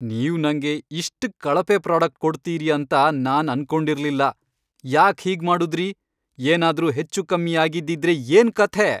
ನೀವ್ ನಂಗೆ ಇಷ್ಟ್ ಕಳಪೆ ಪ್ರಾಡಕ್ಟ್ ಕೊಡ್ತೀರಿ ಅಂತ ನಾನ್ ಅನ್ಕೊಂಡಿರ್ಲಿಲ್ಲ, ಯಾಕ್ ಹೀಗ್ ಮಾಡುದ್ರಿ? ಏನಾದ್ರೂ ಹೆಚ್ಚೂಕಮ್ಮಿ ಆಗಿದ್ದಿದ್ರೆ ಏನ್ ಕಥೆ!